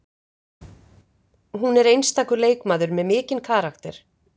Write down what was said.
Hún er einstakur leikmaður með mikinn karakter